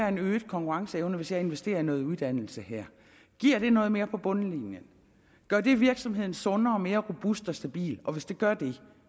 en øget konkurrenceevne hvis jeg investerer i noget uddannelse her giver det noget mere på bundlinjen gør det virksomheden sundere og mere robust og stabil og hvis det gør det